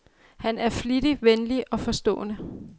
Han er flittig, venlig og forstående.